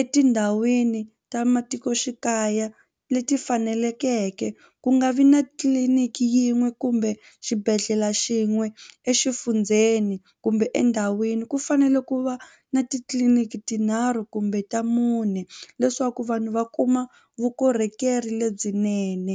etindhawini ta matikoxikaya leti faneleke ku nga vi na tliliniki yin'we kumbe xibedhlele xin'we exifundzeni kumbe endhawini ku fanele ku va na titliliniki tinharhu kumbe ta mune leswaku vanhu va kuma vukorhokeri lebyinene.